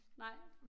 Nej